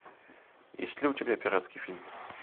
есть ли у тебя пиратский фильм